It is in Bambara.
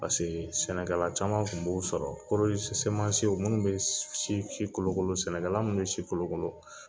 Paseke sɛnɛkɛla caman kun b'o sɔrɔ koro semansiw minnu be si kolo kolo sɛnɛka la minnu be si kolokolo